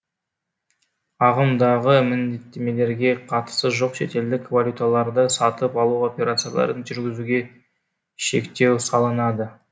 ағымдағы міндеттемелерге қатысы жоқ шетелдік валюталарды сатып алу операцияларын жүргізуге шектеу салынады